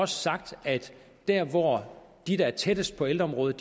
sagt at der hvor de der er tættest på ældreområdet